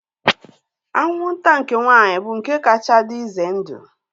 Anwụnta nke nwaanyị bụ nke kacha dị ize ndụ